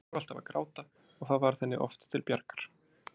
Hún fór alltaf að gráta og það varð henni oft til bjargar.